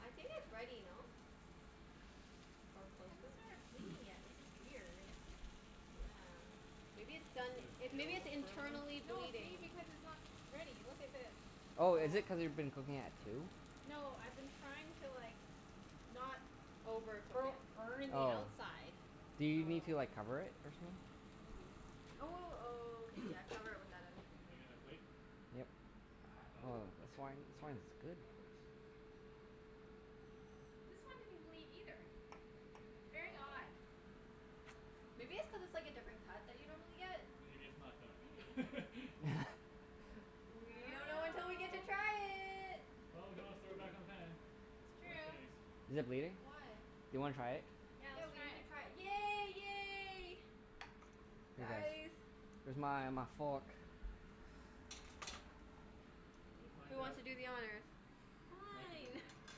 I think it's ready, no? Or close It to it? hasn't started bleeding yet. This is weird. Yeah. Maybe it's done, Does it it, maybe it's feel firm, though? internally No, see? bleeding? Because it's not ready. Look at this. Oh, is it Yeah. cuz you've been cooking at two? No, I've been trying to like not Overcook bo- it. burning the Oh. outside. Do you need to Oh. like cover it or something? Maybe. Oh w- w- okay, yeah, cover it with that other thing. Need another plate? Yep. Oh, Oh, this okay. wine, this wine Sure, is good. that works. This one didn't bleed either. Very odd. uh-oh. Maybe it's cuz it's like a different cut that you normally get? Maybe it's not Maybe. done. We I don't know until don't we get to know. try it. Well, we can always throw it back in the pan. It's Worst true. case. Is it bleeding? Do Why? you wanna try it? Yeah, Yeah, let's we try need to it. try it. Yay! Yay! Guys. Where's my my fork? We'll Who find wants out. to do the honors? Mike can do the Fine. honors.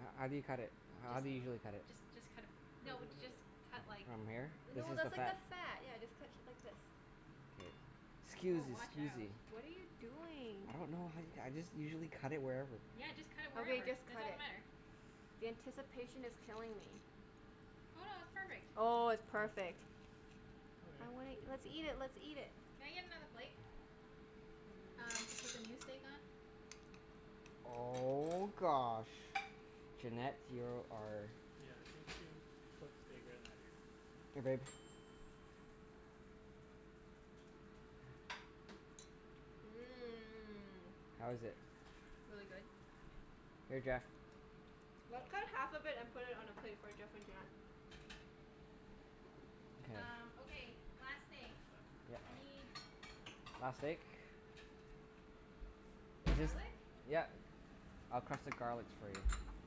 H- how do you cut it? I How Just do you dunno. usually cut it? just just cut a p- Cut it No, through the just middle. cut like From here? This No, Oh, is this the that's is Yeah. new. like the fat. fat. Yeah, just cut t- like this. K. Woah, Scusi, watch out. scusi. What are you doing? I don't know, honey. I just usually cut it wherever. Yeah, just cut it Okay, wherever. just It cut doesn't it. matter. The anticipation is killing me. Oh no, it's perfect. Oh, it's Oh. perfect. Okay. I wanna, let's eat it, let's eat it. Can I get another plate? Mm. Um, to put the new steak on. Oh gosh, Junette, you're our Yeah, she she cooks steak better than I do. Here babe. Mmm. How is it? Really good. Here Jeff. Let's cut Ah. half of it and put All it on a right. plate for Jeff and Junette. Um, Okay. okay, last steak. Yeah. I need Last steak? Just, garlic. yep. I'll crush the garlics for you.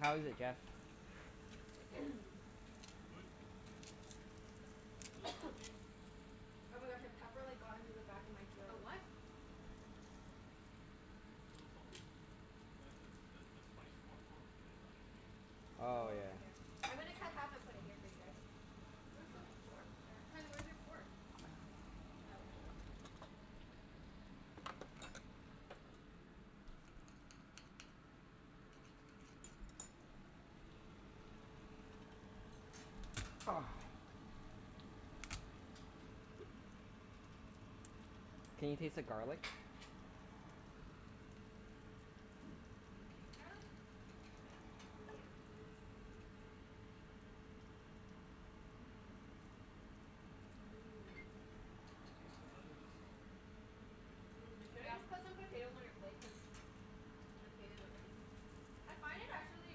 How is it, Jeff? It's good. A little salty. Oh my gosh, a pepper like got into the back of my A throat. what? It's a little salty. That that the spice is more potent than I thought it would be. Oh Oh, yeah. okay. Here. I'm gonna cut half and put it here for you guys. Where's the Sure. fork? Sure. Hun, where's your fork? Ah, whatever. Let's just u- Oh. Can you taste the garlic? Can you taste the garlic? I dunno. I taste the butter. Mmm. Here you go. Mmm. Mmm. Taste the butter and the salt. Mmm. Should I just Yep. put some potatoes on your plate? Cuz potatoes are ready. I find it, actually,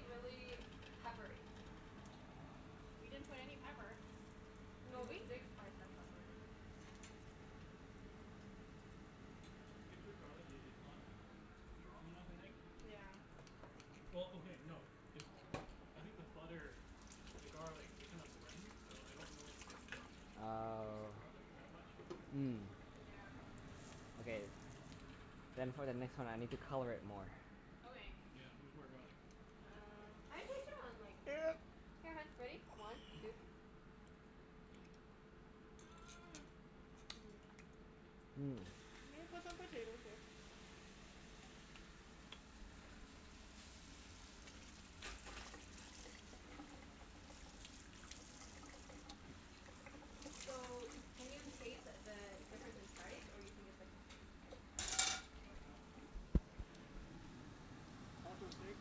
really peppery. We didn't put any pepper. No, Did the we? steak spice has pepper in it. Get through garlic, i- it's not strong enough, I think. Yeah. Well, okay, no. It I think the butter and the garlic, they kind of blend. So I don't know if I can taste the Oh. garlic that much. Mm. Yeah. Okay. Then for the next one I need to color it more. Okay. Yeah, needs more garlic. Um I can taste it on like Here, hun, ready? One two Mmm. Mmm. You wanna put some potatoes here? So, can you taste the difference in price, or you think it's like the same? I dunno. Hmm hmm hmm, how much was the steak?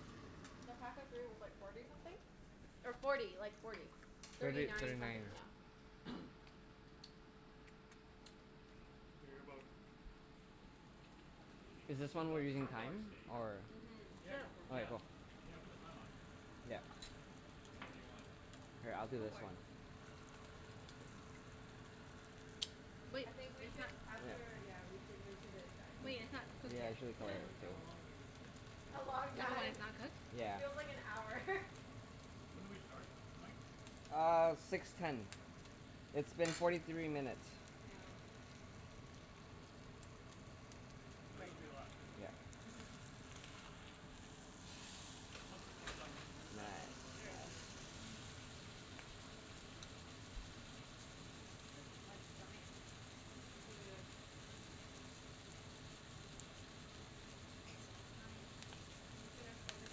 Mm, the pack of three was like forty something. Or forty. Like forty. Thirty Thirty thirty nine something, nine. yeah. Figure about maybe Is this thirteen one we're bucks using for a large thyme, steak. or Mhm. Yeah, go Sure. for it. Oh yeah, Yeah, cool. yeah, put the time on. Yep. Whenever you want. Here, I'll do Go this for it. one. But I think we is should, that Yeah. after, yeah, we should move to the Wait, dining it's not Yeah, cooked I yet. should've How told long room her soon. have w- to. how long have we been here? A long Even when time. it's not cooked? It Yeah. feels like an hour. When did we start, Mike? Uh, six ten. It's been forty three minutes. Yeah. This is gonna be a lot of steak, Yeah. right? Mhm. Mhm. So once this one's done we can move that one over Nice. There to we go. there too, and Yeah. This is like, giant. It's really good. Giant steaks. I'm just gonna focus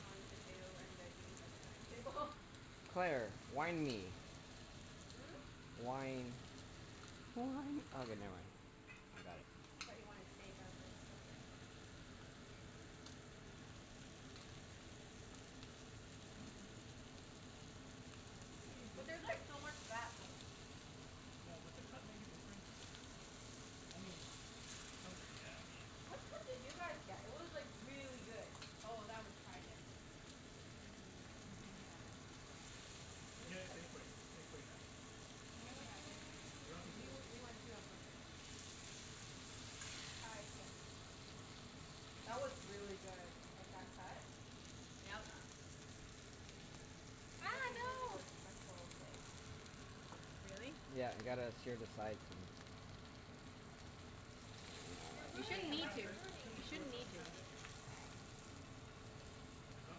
on potato and veggies at the dining table. Claire, Yeah. wine me. Hmm? Wine. More Wine. wine Which Oh one's okay, never yours mind. though? I got it. I thought you wanted steak. I was like, okay. Mmm. It's pretty But juicy. there's like so much fat though. Yeah, does the cut make a difference? I mean, to some degree, yeah. I mean What cut did you guys get? It was like really good. Oh, that was tri-tip. You can't Mmm. get that at Superstore. You can Where do get you it have at w- Safeway. Safeway has it. Safeway has it. Um We Oh. we went to a butcher. tri-tips. That was really good. Like, that cut. Yeah. Yep. You have Ah, to go to no. a special place. Really? Yeah, you gotta sear the sides and You're You ruining shouldn't it, Safeway need Mike, has to. you're it. ruining it. You Superstore shouldn't need doesn't to. have it. Mm I got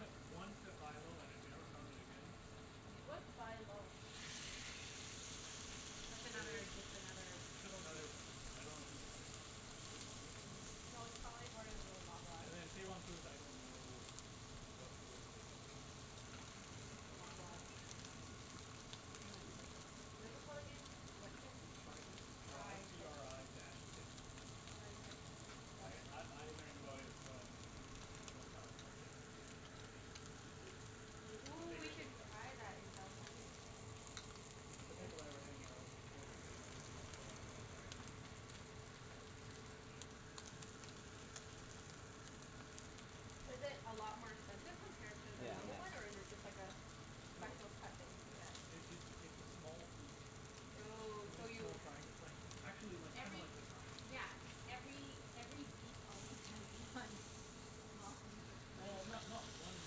it once at Buy Low and I never found it again. What's Buy Low? That's I- it's another, just another just grocery another store. I don't know who owns it. Is it Save on Foods? I Mm. Hmm. dunno. No, it's probably for Loblaws. And then Save on Foods, I don't know what, whether they have it or not. It's the Loblaws franchise. Same as Superstore. What is it called again? What tip? tri-tip. Tri t tri-tip. r i dash tip. tri-tip. I Got it. I I learned about it from people in California cuz apparently it's i- it's We, a ooh, we bigger should thing down there. try that in California. It's the people I were hanging arou- out with. They they they bought a lot of tri-tip. To barbecue or whatever. Yeah. Is it a lot more expensive compared to the Yeah, a No. normal one, or miss. is it just like a s- No. special cut that you can get? It it's it's a small piece. It's Oh, only so a small you triangle. It's like actually like, kinda Every like this size. Yeah, every every beef only has one small piece of tri- Well, ti- not not one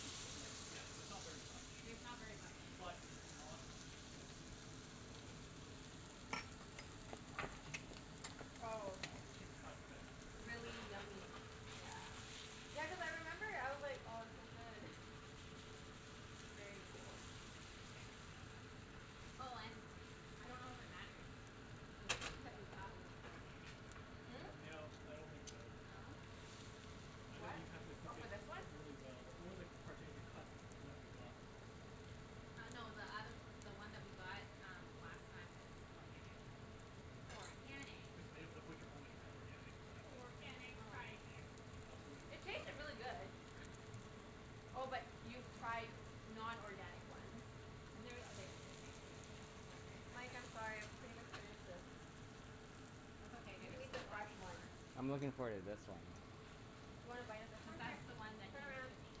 piece, but like, yeah, it's not very much. There's not very much. But it's not expensive. For whatever wer- wer- whatever whatever reason. It's like a cheap Oh, okay. it's a cheap cut that's tasty. Really yummy. Yeah. Yeah, cuz I remember I was like, "Oh, it's so good." Very cool. Oh and, I don't know if it matters the steak that we got was organic. Hmm? No, I don't think so. No? I think What? you happened to Oh, cook for it this one? really well or the particular cut that we got was also good. Uh no, the othe- the one that we got um last time was organic. Organic. Cuz they, the butcher only had organic for that one. Organic tri-tip. I also It tasted really good. Oh, but y- Yeah. you've tried non-organic ones? And they're, they also taste really good. Oh, They okay. taste like Mike, that I'm sorry. I've pretty much finished this. That's okay, You there's can eat the lots fresh one. more. I'm looking forward to this one. You wanna bite of this Cuz one? Here. that's the one that Turn he's around. cooking.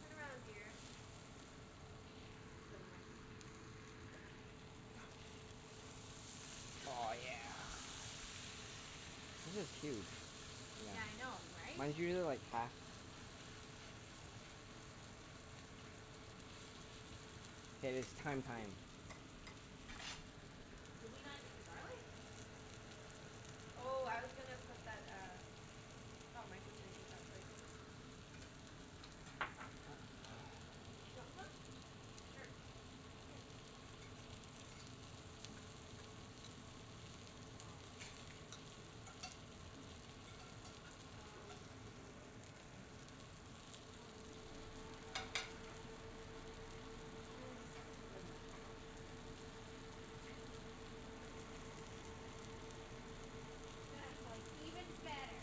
Turn around, dear. Never mind. Oh, yeah. This is huge. Yeah. Yeah, I know, right? Mine's usually like half K, it's thyme time. Did we not eat the garlic? Oh. Oh, I was gonna put that uh Thought Mike was gonna take that plate. We have garlic. Do you want some? Sure. Sure. Here. Great. Noms. Ah, I'll leave Mike with one Oh, piece. sorry. Or me. Mmm. So good. Mmm. Mmm. That's like even better.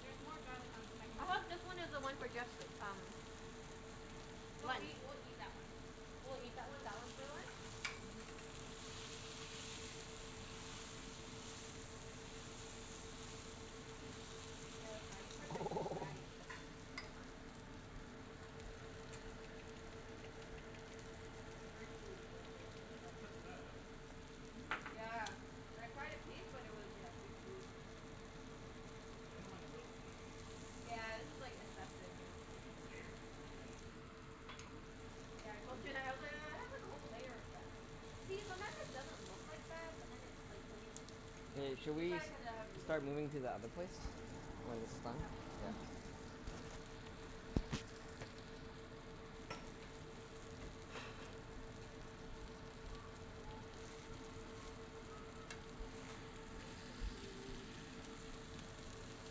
There's more garlic on the second I hope this steak. one is the one for guests, um No, we lunch. we'll eat that one. We'll eat that one. That one's for lunch? Mhm. Yeah, the fatty parts are too fatty. It's like Let me take that out. Very chewy the the You part. can cut the fat out. Mhm. Yeah. I tried a piece but it was, yeah, too chewy for me. Like, I don't mind a little fat. But Yeah, this is like like assessive, you know? like a layer? I don't know. Yeah, I told Junette. I was like, "Oh, it has like a whole layer of fat." See? Sometimes it doesn't look like fat, but then it like, when you, yeah Hey, should you we try s- to cut it out and it start moving isn't to the other place? When this is done? Yeah. Yeah. move our plates. Thanks.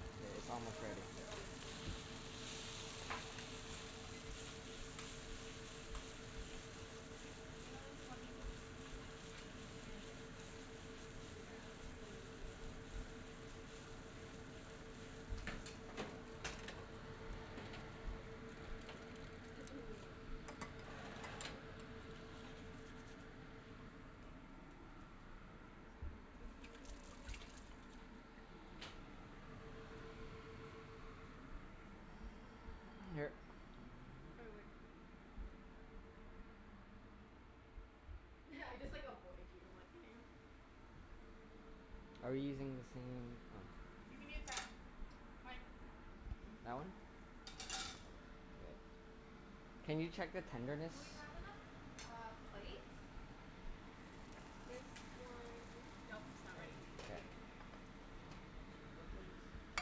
K, it's Hun, almost what ready. happened to your, oh your coaster's right here. There's only two more pieces. You just finish it. Yeah, and then can you Just let me put this over here. Here. Why, what I just like avoid you. I'm like Are you using the same, oh You can use that. Mike. Hmm? That one? K. Can you check the tenderness? Do we have enough uh, plates? This one Nope, We it's not ready. probably should K. get like two more plates? I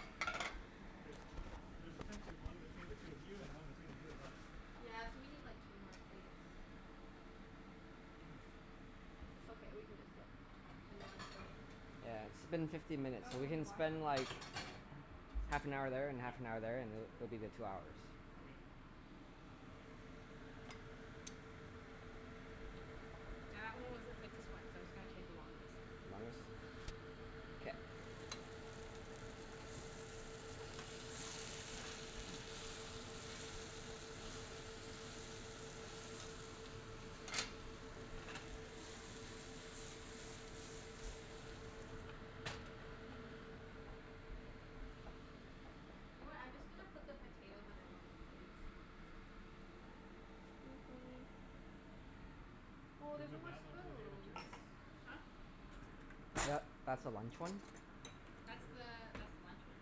dunno. Yeah, Cuz sure. y- there's essentially one between the two of you and one between the two of us. Yeah, so we need like two more plates. It's okay, we can just get a non-plate. Yeah, it's been fifteen minutes. Oh So no, we he can washed spend like, it. half an hour there and Yeah. half an hour there, and th- that'll be the two hours. Okay. Yeah, that one was the sickest one so it's gonna take the longest. Longest? Oh, this is their I dunno whose plate this one would be. Mhm. You know what? I'm just gonna put the potatoes on everyone's plates. Excuse me. Oh, Should there's we no move more that one to the table too, spoons. or no? Huh? Tha- that's the Y- lunch one. That's Sure. the that's the lunch one.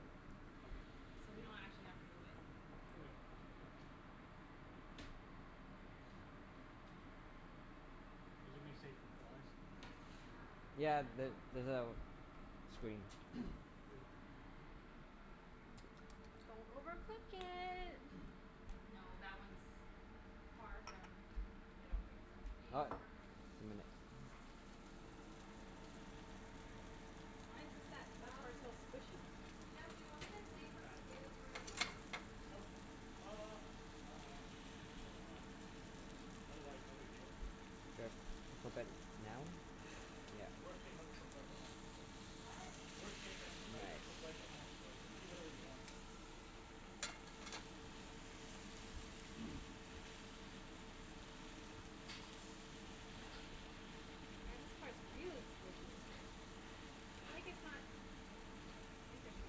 Yeah. Okay, so we So we leave it? don't actually have to move it. Okay. Is it gonna be safe from flies? Ow, ow. It's Yeah, kinda th- hot. there's a screen. Good. Don't overcook it. No, that one's far from, I don't think so. Being Ah, overcooked? just a minute. Why is this at, that part's Um, so squishy? Jeff, do you want me to a save some fat. potatoes for your lunch? Nope. K. Uh, I dunno. If there's a lot, sure, but otherwise Okay. no big deal. Just flip it now. Yeah. Worst case, I'll just cook rice at home, so What? Worst case I just I just cook Nice. rice at home, so just eat whatever you want. Okay. Yeah, this part's really squishy. Oh, I guess not Oh. Interesting.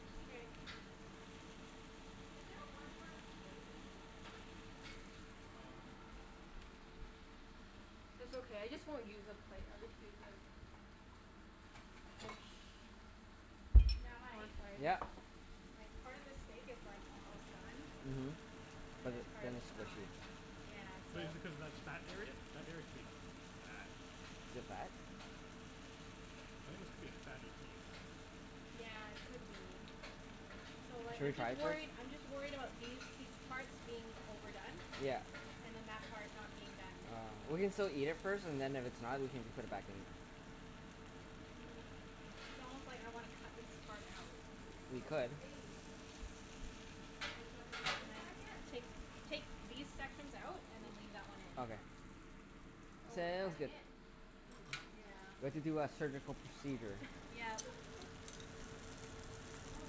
Is there one more plate? Hmm. Um It's okay. I just won't use a plate. I'll just use this. Dish. Yeah, Oh, Mike? sorry. Yeah. Like, part of this steak is like, almost done. Mhm, And but then part then of it's it's not. squishy. Yeah, so But is it cuz that's fat area? That area could be fat. Is it fat? I think this could be a fatty piece. Yeah, it could be. So like Should we I'm just try some? worried, I'm just worried about these pie- parts being overdone. Yeah. And then that part not being done. Ah. We can still eat it first, and then if it's not we can just put it back in. Mm, it's it's almost like I wanna cut this K. part out. We could. Okay. Shall we go to the other And then side yet? take take these sections out and then leave that one in. Okay. Oh, we're Sounds cutting good. it? Yeah. We have to do a surgical procedure. Yep. All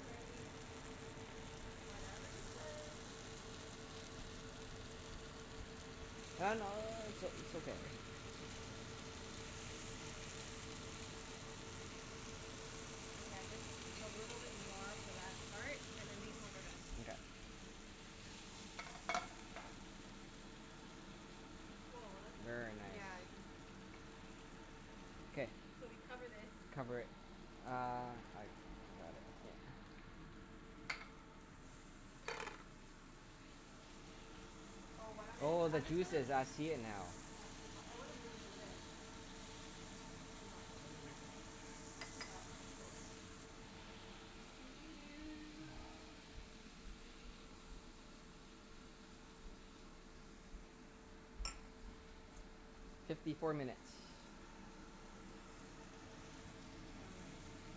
righty. Whatever you say. It's o- it's okay. Yeah, just a little bit more for that part and then these ones are done. Mkay. Woah, that's, Very nice. yeah, I thi- K. So we cover this. Cover it. Uh, I got it here. Oh, why don't I just, Oh, the I'm just gonna juices. I see it now. Oh, it's too hot. I wanna bring it over there. Mhm. Too hot, though. I'm gonna wait for that one, I think. Oh, okay. Cool. Let me see. Fifty four minutes. No worries.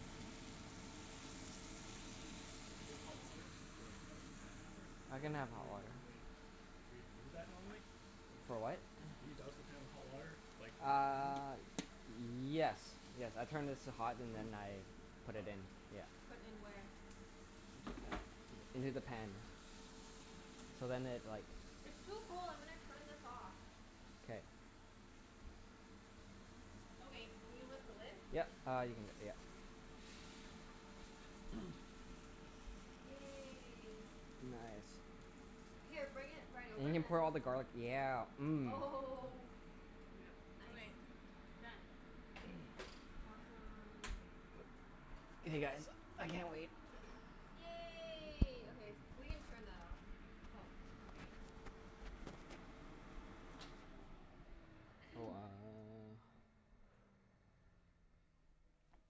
Do you have hot water to like, douse the pan after? I Or can y- have do hot you water. normally Do you do that normally? For what? Do you douse the pan with hot water like Uh, yes. Yes. I turn this to hot and then I put Oh. it in. Yeah. Put in where? Into the pan. Into the pan. So then it like It's too cold. I'm gonna turn this off. K. Okay, can you lift the lid? Yep. Uh, you can, yep. Yay. Nice. Here, bring it right over We and can then put all the garlic, yeah. Mmm. Oh Yep. Nice. Okay. Done. K. Awesome. Okay guys, I can't wait. Yay. Okay. We can turn that off. Oh, okay. So uh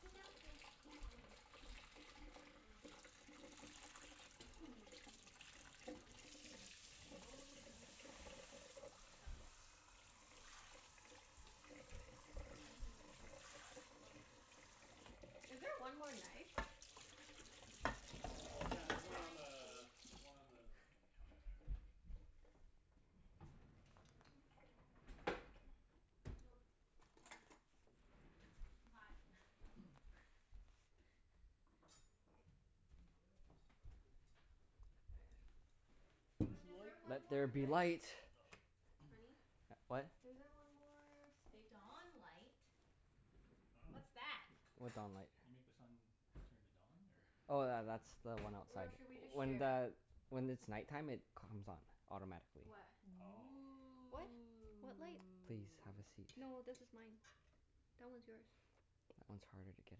Sit down, yeah. Oh eh. Where am I sitting? Mm. Mm. Mm. Mm. Oh, Mm. we need utensils. Oh, yeah. Oh, yes. Unless you expect, you want me to eat with my face. Is there one more knife? I Uh, can yeah, eat there's with one my on face. the, there's one on the counter there. Nope. Can't. Too hot. Is this Hun, is there one Let more there be light. knife? Oh. Honey? What? Is there one more steak Dawn knife? light. I dunno. What's that? What dawn light? You make the sun turn to dawn, or Oh tha- that's the one Or outside. should we just When share? the, when it's night time, it comes on. Automatically. What? Oh. What? What light? Please, have a Ooh. seat. No, this is mine. That one's yours. That one's harder to get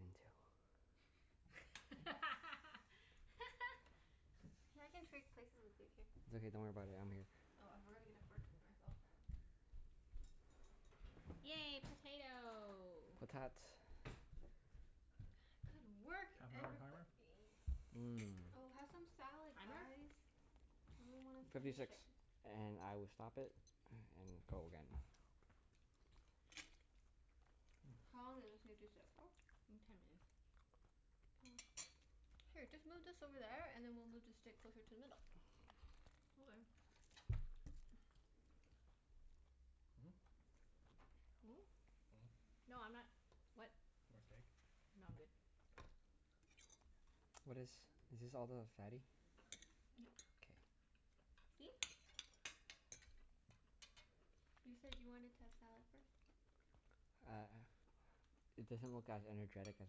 into. Hey, I can trade places with you. Here. It's okay. Don't worry about it. I'm here. Oh, I forgot to get a fork for myself. Yay, potato. Potat. Good work, Half an hour everybo- timer? ee. Oh, Mmm. have some salad Timer? guys. We really wanna Fifty finish six. it. And I will stop it and go again. How long did this need to sit for? Mm, ten minutes. Oh. Here, just move this over there, and then we'll move the steak closer to the middle. Okay. Hmm? Mm? Hmm. No, I'm not, what? More steak? No, I'm good. Oh. What is, is this all the fatty? Yep. K. See? You said you wanted to have salad first. Uh, it doesn't look as energetic as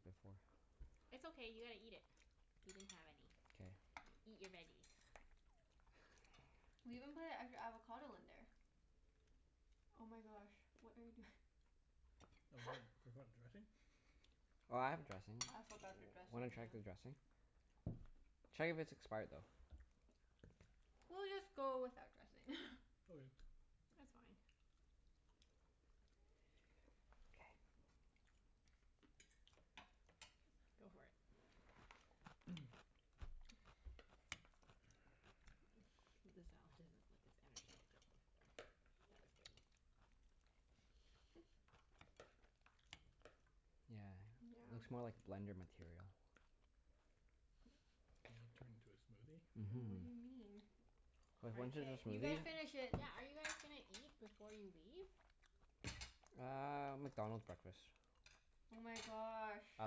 before. It's okay, you gotta eat it. You didn't have any. K. Eat your veggies. We even put an extra avocado in there. Oh my gosh, what are you doing? forgot dressing? Oh, I have dressing. I forgot the W- wanna dressing, check the yeah. dressing? Check if it's expired though. We'll just go without dressing. Okay. It's fine. Go for it. The salad doesn't look as energetic as before. That was good. Yeah, Yeah. looks more like blender material. You gonna turn it into Mhm. And what a do you mean? smoothie? Cuz Are once it's y- K, a you guys smoothie finish yeah, it. yeah, are you guys gonna eat before you leave? Uh, McDonald's breakfast. Oh my gosh. I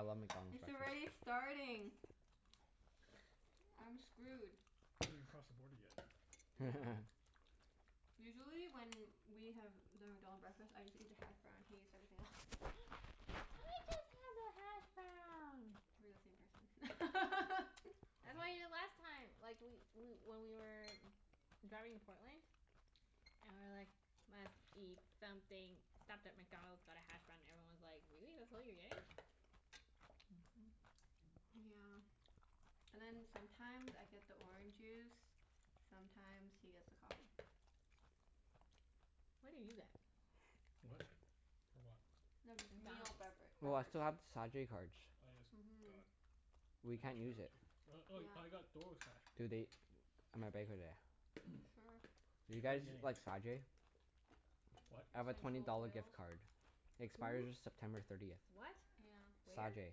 love McDonald's It's already breakfasts. starting. I'm screwed. You haven't even crossed the border yet. Yeah. Usually when we have the McDonald breakfast, I just eat the hash brown. He eats everything else. I just have the hashbrown. We're the same person. I had them the last time like, we we when we were driving to Portland. And we were like, "Must eat something." Stopped at McDonald's, got a hash brown, and everyone was like, "Really? That's all you're getting?" Yeah. And then sometimes I get the orange juice. Mhm. Sometimes he gets the coffee. What do you get? What? For what? The meal McDonald's. bevera- Oh, I beverage. still have the Sa-jay cards. Oh yes, Mhm. god. We A can't hash use brown it. too. Oh oh, I Yeah. got hash Do they browns. That's right. Sure. Do you get guys anything. like Sa-jay? What? I have a twenty Essential dollar oils. gift card. It expires Who? September thirtieth. What? Yeah. Where? Sa-jay.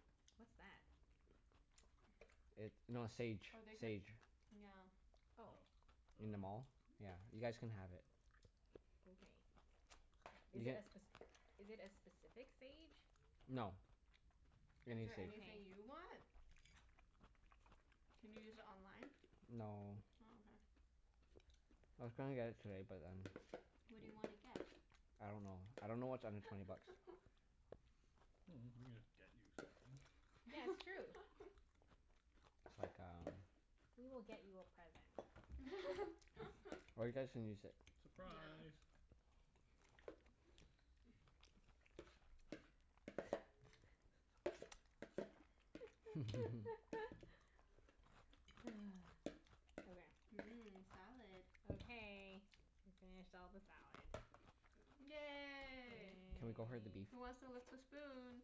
What's that? It, no, Sage. Or they could, Sage. yeah. Oh. Oh. I In the dunno. mall. Yeah, you guys can have it. Okay. You Is it a get spec- is it a specific Sage? no, any Is there Sage. anything you want? Can you use it online? No. Oh, I was gonna get it today, but then okay. What do you wanna Okay. get? I don't know. I don't know what's under twenty bucks. Mm, we could just get you something. Yeah, it's true. That's like um We will get you a present. Or you guys can use it. Yeah. Surprise! Okay. Mmm, salad. Okay. We finished all the salad. Yay. Can we go for the beef? Yay. Who wants to lick the spoon?